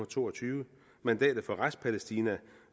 to og tyve mandatet for restpalæstina